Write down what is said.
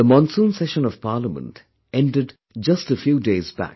The monsoon session of Parliament ended just a few days back